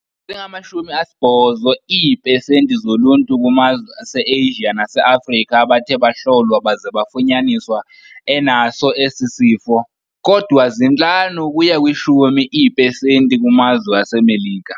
Zingamashumi asibhozo iiphesenti zoluntu kumazwe aseAsia naseAfrika abathe bahlolwa baze bafunyaniswa enaso esi sifo, kodwa zintlanu ukuya kwishumi iiphesenti kumazwe aseMelika.